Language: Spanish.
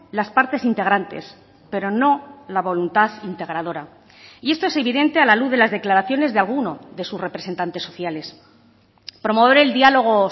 las partes integrantes pero no la voluntad integradora y esto es evidente a la luz de las declaraciones de alguno de sus representantes sociales promover el diálogo